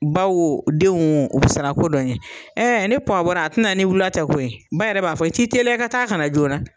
Ba wo denw wo u bi sara ko dɔ ɲɛ. ni puwa bɔra a ti na ni wula tɛ koyi, ba yɛrɛ b'a fɔ i t'i teliya i ka taa kana joona.